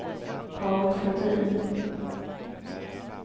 Paul Flodin